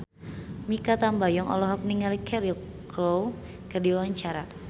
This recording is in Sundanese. Mikha Tambayong olohok ningali Cheryl Crow keur diwawancara